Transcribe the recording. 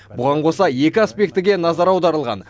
бұған қоса екі аспектіге назар аударылған